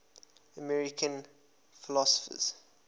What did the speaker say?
american philosophers